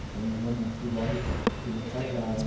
Então eu já nasci logo que eles casaram.